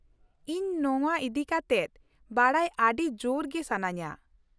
ᱤᱧ ᱱᱚᱶᱟ ᱤᱫᱤ ᱠᱟᱛᱮᱫ ᱵᱟᱰᱟᱭ ᱟᱰᱤ ᱡᱳᱨ ᱜᱮ ᱥᱟᱹᱱᱟᱹᱧᱟ ᱾